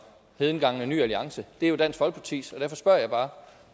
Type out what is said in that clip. det hedengangne ny alliances det er jo dansk folkepartis derfor spørger jeg bare